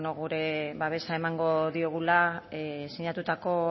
gure babesa emango diogula sinatutako